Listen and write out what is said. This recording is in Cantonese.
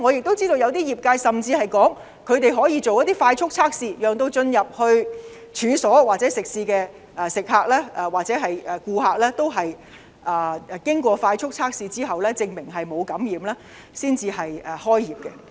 我知道有些業界表示，他們可以進行快速測試，讓進入處所或食肆的顧客經快速測試證明沒有感染後，才開業。